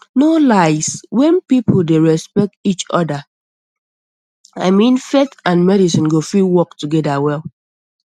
no lies when people dey respect each other i mean faith and um medicine go um fit work together well